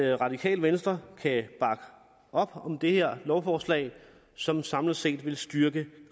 radikale venstre kan bakke op om det her lovforslag som samlet set vil styrke